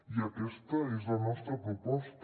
i aquesta és la nostra proposta